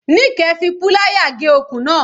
Nike fi púláyà gé okùn náà.